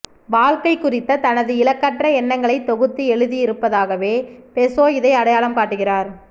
வாழ்க்கை குறித்த தனது இலக்கற்ற எண்ணங்களை தொகுத்து எழுதியிருப்பதாகவே பெசோ இதை அடையாளம் காட்டுகிறார்